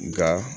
Nga